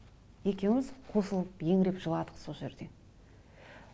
екеуміз қосылып еңіреп жыладық сол жерде